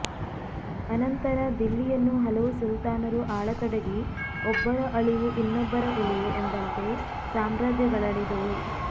ಅನಂತರ ದಿಲ್ಲಿಯನ್ನು ಹಲವು ಸುಲ್ತಾನರು ಆಳತೊಡಗಿ ಒಬ್ಬರ ಅಳಿವು ಇನ್ನೊಬ್ಬರ ಉಳಿವು ಎಂಬಂತೆ ಸಾಮ್ರಾಜ್ಯಗಳಳಿದುವು